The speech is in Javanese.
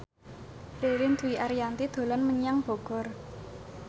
Ririn Dwi Ariyanti dolan menyang Bogor